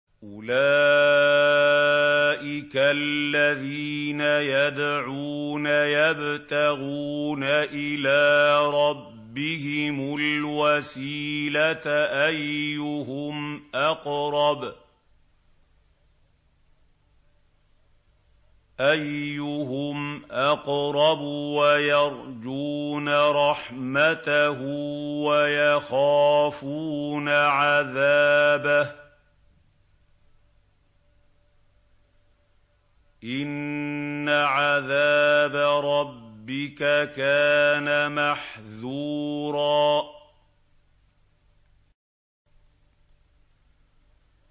أُولَٰئِكَ الَّذِينَ يَدْعُونَ يَبْتَغُونَ إِلَىٰ رَبِّهِمُ الْوَسِيلَةَ أَيُّهُمْ أَقْرَبُ وَيَرْجُونَ رَحْمَتَهُ وَيَخَافُونَ عَذَابَهُ ۚ إِنَّ عَذَابَ رَبِّكَ كَانَ مَحْذُورًا